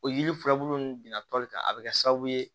O yiri furabulu ninnu bina toli ka a bɛ kɛ sababu ye